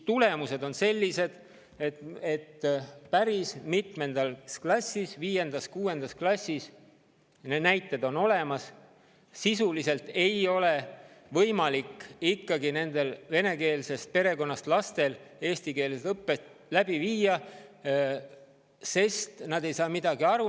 Tulemus on see, et, viiendas-kuuendas klassis – need näited on olemas – ei ole venekeelsest perekonnast pärit laste puhul võimalik eestikeelset õpet läbi viia, sest nad ei saa mitte midagi aru.